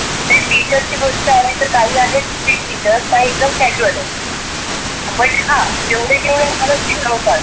आणि टीचर्स ची गोष्ट अली तर काही आहेत strict टीचर्स काही एकदम casual आहेत. but हा जेव्हढे जेव्हढे मला शिकवतात